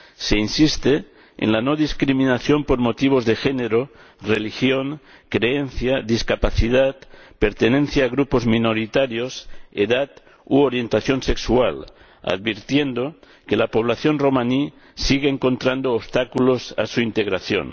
Se insiste en la no discriminación por motivos de género, religión, creencia, discapacidad, pertenencia a grupos minoritarios, edad u orientación sexual, advirtiendo que la población romaní sigue encontrando obstáculos a su integración.